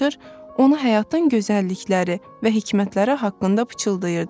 ona həyatın gözəllikləri və hikmətləri haqqında pıçıldayırdılar.